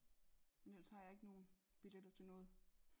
Men ellers har jeg ikke nogen billetter til noget